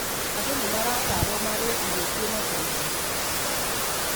Andũ nĩmaratarwo marĩe ĩrio cĩina faimba